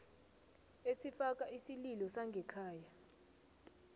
esifaka isililo sangekhaya